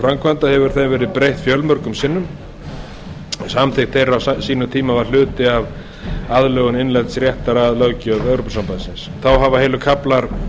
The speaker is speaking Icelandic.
framkvæmda hefur þeim verið breytt fjölmörgum sinnum en samþykkt þeirra á sínum tíma var hluti af aðlögun innlends réttar að löggjöf evrópusambandsins þá hafa heilu kaflar